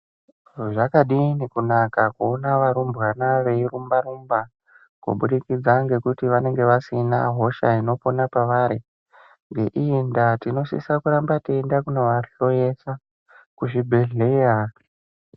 Zvakadini kunaka teiona varumbwana veirumba rumba kubudikidza ngekuti vanenge vasina hosha inopona pavari. Ngeiyi ndaa tinosisa kuramba teinovahloyesa kuzvibhehleya.